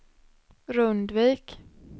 Rundvik